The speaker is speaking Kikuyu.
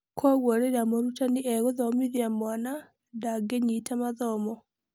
Kwoguo rĩrĩa mũrutani e-gũthomithia mwana ndangĩnyita mathomo.